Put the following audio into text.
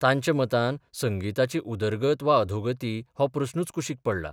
तांच्या मतान संगिताची उदरगत वा अधोगती हो प्रस्नूच कुशीक पडला.